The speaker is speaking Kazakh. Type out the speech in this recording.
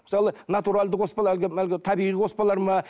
мысалы натуралды қоспалар әлгі табиғи қоспалар ма